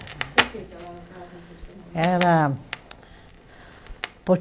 Por que que ela era um caso excepcional? Ela por